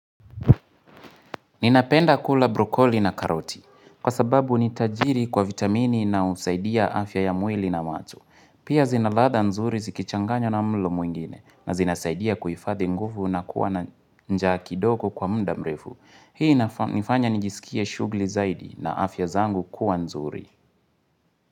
Ninapenda kula brokoli na karoti. Kwa sababu ni tajiri kwa vitamini na usaidia afya ya mwili na macho. Pia zinaladha nzuri zikichanganywa na mlo muingine na zinasaidia kuifadhi nguvu na kuwa na njaa kidogo kwa mda mrefu. Hii nifanya nijisikie shugli zaidi na afya zangu kuwa nzuri.